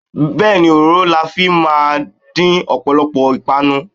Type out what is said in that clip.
Bẹẹni, òróró la fi máa ń dín ọ̀pọ̀lọpọ̀ ìpànu.